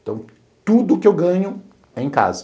Então, tudo que eu ganho é em casa.